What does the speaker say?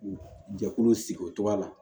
Jɛkulu sigi o cogoya la